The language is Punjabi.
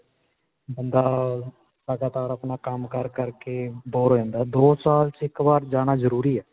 ਬੰਦਾ ਅਅ ਲਗਾਤਾਰ ਆਪਣਾ ਸਾਰਾ ਕੰਮ ਕਰ ਕਰ ਕੇ bore ਹੋ ਜਾਂਦਾ. ਦੋ ਸਾਲ 'ਚ ਇੱਕ ਵਾਰ ਜਾਣਾ ਜ਼ਰੂਰੀ ਹੈ.